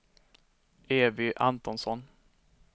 Evy Antonsson